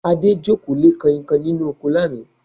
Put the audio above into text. Adé jókòó lé Kanhinkanhin nínú oko lánàá